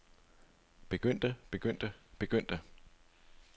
begyndte begyndte begyndte